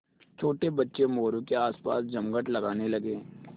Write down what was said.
छोटे बच्चे मोरू के आसपास जमघट लगाने लगे